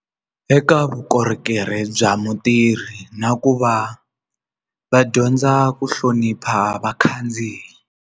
Eka vukorhokeri bya mutirhi na ku va va dyondza ku hlonipha vakhandziyi.